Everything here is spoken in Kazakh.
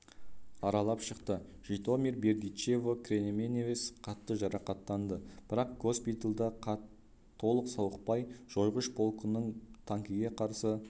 аралап шықты житомир бердичево кременевец қатты жарақаттанды бірақ госпитальда толық сауықпай жойғыш полкының танкіге қарсы